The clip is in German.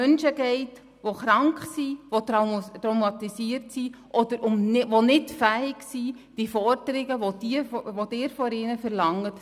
Es geht um Menschen, die krank, traumatisiert und nicht fähig sind, die von Ihnen gestellten Forderungen zu erfüllen.